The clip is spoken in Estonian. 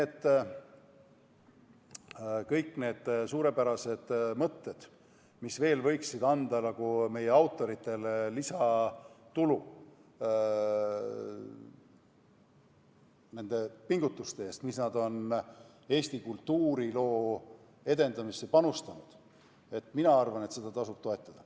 Aga kõik need suurepärased mõtted, mis veel võiksid anda meie autoritele lisatulu nende pingutuste eest, mis nad on Eesti kultuuriloo edendamisse panustanud – mina arvan, et tasub toetada.